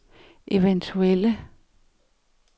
eventuelle